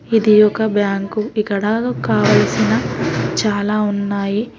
ఇది ఒక బ్యాంకు ఇక్కడ కావలసిన చాలా ఉన్నాయి.